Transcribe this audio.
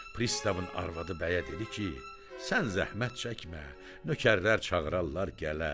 Pristavın arvadı bəyə dedi ki, sən zəhmət çəkmə, nökərlər çağırarlar gələr.